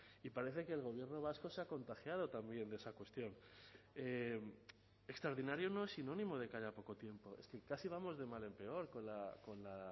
y parece que el gobierno vasco se ha contagiado también de esa cuestión extraordinario no es sinónimo de que haya poco tiempo es que casi vamos de mal en peor con la